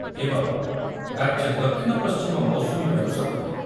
ଏବଂ, ରାଜ୍ୟରେ ଦକ୍ଷିଣ ପଶ୍ଚିମ ମୌସୁମୀବାୟୁ ସକ୍ରିୟ